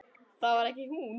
Það var ekki hún.